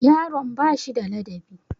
Yaron ba shi da ladabi?